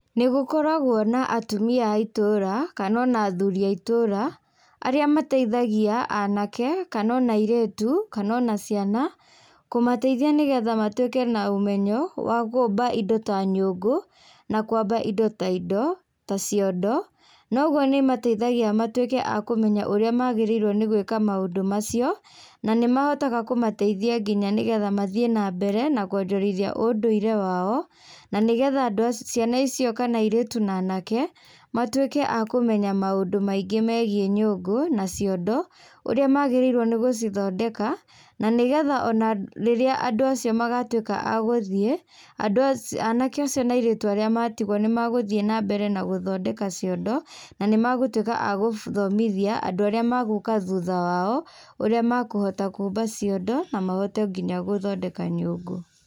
Nĩgũkoragwo na atumia a itũra kana ona athuri a itũra arĩa mateithagia anake kana ona airĩtu kana ona ciana kũmateithia nĩgetha matwĩke na ũmenyo wa kũmba indo ta nyũngũ na kwamba indo ta indo ta ciondo noguo nĩmateithagia matwĩke a kũmenya ũrĩa magĩrĩirwo nĩ gwĩka maũndũ macio nanĩmahotaga kũmateithia nginya nĩgetha mathiĩ nambere na kũenderithia ũndũire wao na nĩgetha andũ ciana icio kana airĩtu na anake matwíke a kũmenya maũndu maingĩ megie nyũngũ na ciondo urĩa magĩrĩirwo nĩ gũcithondeka na nĩgetha rĩrĩa andũ acio magatwĩka a gũthiĩ andũ aci anake acio na airĩtu arĩa matigwo nĩmagũthie nambere na gũthondeka ciondo na nĩmagũtwĩka a gũthomithia andũ arĩa magũka thutha wao ũrĩa makũhota kũmba ciondo na mahote nginya gũthondeka nginya nyũngũ.